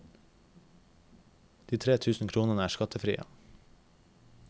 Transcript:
De tre tusen kronene er skattefrie.